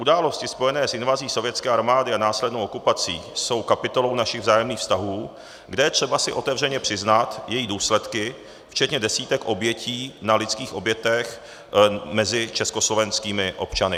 Události spojené s invazí sovětské armády a následnou okupací jsou kapitolou našich vzájemných vztahů, kde je třeba si otevřeně přiznat jejich důsledky včetně desítek obětí na lidských obětech mezi československými občany.